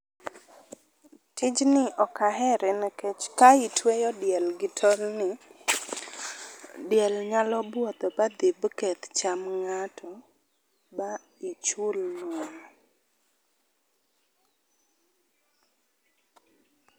Tijni ok ahere nikech ka itweyo diel gi tol ni, diel nyalo buoth ba dhi maketh chamb ng'ato ba ichul wuon